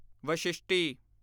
ਵਸ਼ਿਸ਼ਟੀ